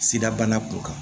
Sida bana ko kan